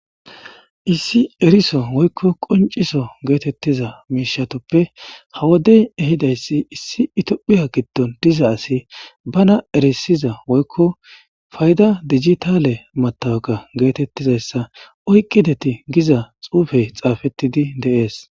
issi eriso woykko qonciso geetettiza miishatoppe hawodey ehidayssi issi itophiya giddon diza asi bana erisiza woykko fayda dijitale matawaqa geetettizayssa oyqideti giza xuufey xaafettidi deees